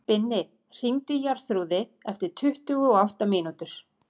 Binni, hringdu í Jarþrúði eftir tuttugu og átta mínútur.